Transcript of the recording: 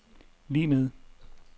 lig med